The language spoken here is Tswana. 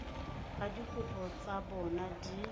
ba dikopo tsa bona di